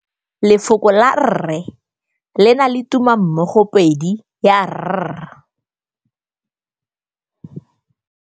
Lefoko la rre le na le tumammogôpedi ya, r.